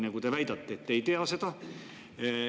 Te ju väidate, et te ei tea seda.